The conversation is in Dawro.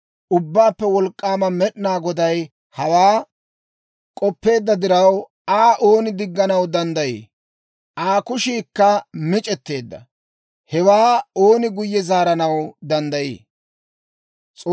Ubbaappe Wolk'k'aama Med'inaa Goday hawaa k'oppeedda diraw, Aa ooni digganaw danddayii? Aa kushiikka mic'etteedda; hewaa ooni guyye zaaranaw danddayii?